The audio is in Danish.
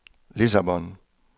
Lissabon